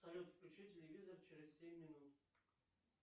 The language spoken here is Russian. салют включи телевизор через семь минут